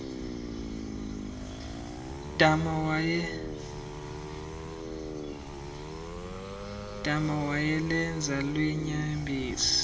dama wayelenza lweenyembezi